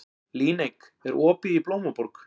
Líneik, er opið í Blómaborg?